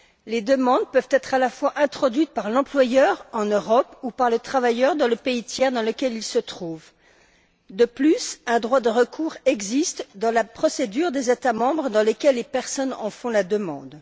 Les demandes peuvent être à la fois introduites par l'employeur, en Europe, ou par le travailleur, dans le pays tiers dans lequel il se trouve. De plus, un droit de recours existe dans la procédure des États membres dans lesquels les personnes en font la demande.